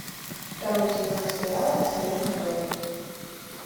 второй сезон сериала абсолютный дуэт